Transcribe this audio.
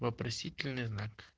вопросительный знак